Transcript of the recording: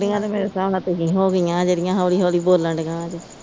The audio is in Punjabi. ਬੁੱਢੀਆ ਤੇ ਮੇਰੇ ਸਾਬ ਨਾਲ ਤੁਸੀ ਹੋਗੀਆਂ ਜਿਹੜੀਆਂ ਹੋਲੀ ਹੋਲੀ ਬੋਲਣ ਦਈਆ ਜੇ